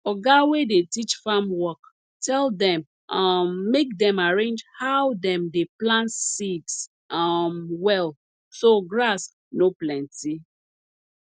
oga wey dey teach farm work tell dem um make dem arrange how dem dey plant seeds um well so grass no plenty